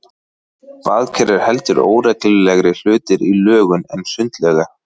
Baðker eru heldur óreglulegri hlutir í lögun en sundlaugar.